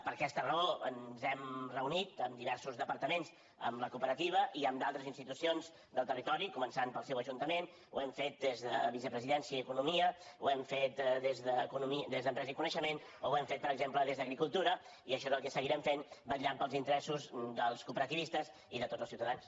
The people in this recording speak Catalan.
per aquesta raó ens hem reunit amb diversos departaments amb la cooperativa i amb d’altres institucions del territori començant pel seu ajuntament ho hem fet des de vicepresidència i economia ho hem fet des d’empresa i coneixement o hem fet per exemple des d’agricultura i això és el que seguirem fent vetllant pels interessos dels cooperativistes i de tots els ciutadans